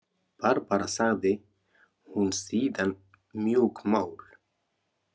Barbara, sagði hún síðan mjúkmál.